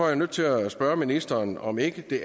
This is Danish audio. jeg nødt til at spørge ministeren om ikke det